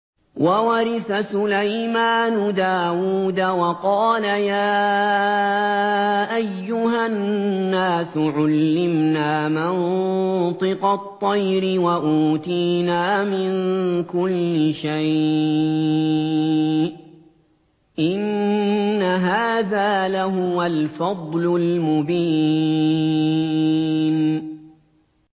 وَوَرِثَ سُلَيْمَانُ دَاوُودَ ۖ وَقَالَ يَا أَيُّهَا النَّاسُ عُلِّمْنَا مَنطِقَ الطَّيْرِ وَأُوتِينَا مِن كُلِّ شَيْءٍ ۖ إِنَّ هَٰذَا لَهُوَ الْفَضْلُ الْمُبِينُ